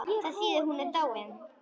Þá loks fékk Jóra málið.